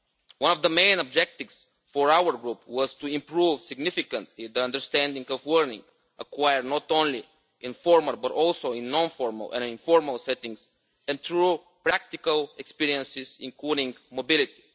One of the main objectives for our group was to improve significantly the understanding of learning, acquired not only in formal, but also in non formal and informal settings, and through practical experiences, including mobility.